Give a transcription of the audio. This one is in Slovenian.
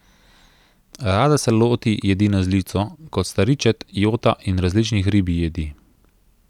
Rada se loti jedi na žlico, kot sta ričet, jota, in različnih ribjih jedi.